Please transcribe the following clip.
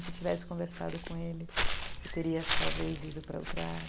Se eu tivesse conversado com ele, eu teria, talvez, ido para outra área.